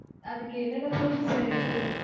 அதுக்கு என்னென்ன proof sir எடுத்துட்டு வரணும்?